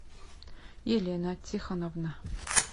елена тихоновна